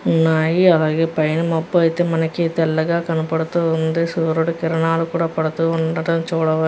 ఉన్నాయి అలాగే పైన మొత్తం అయితే మనకి తెల్లగా కనబుతు వుంది సూర్యుడు కిరణాలు కూడా పడుతూ ఉండడం చూడవ --